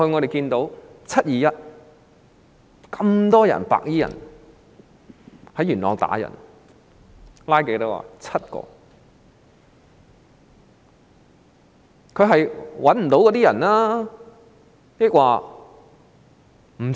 但是，在"七二一"事件中，多名白衣人在元朗打人，多少人被拘捕？